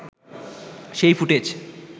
সেই ফুটেজ